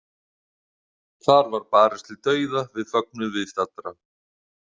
Þar var barist til dauða við fögnuð viðstaddra.